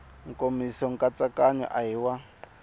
nkomiso nkatsakanyo a hi wa